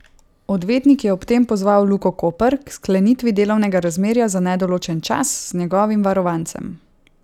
Odvetnik je ob tem pozval Luko Koper k sklenitvi delovnega razmerja za nedoločen čas z njegovim varovancem.